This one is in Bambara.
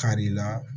Kari la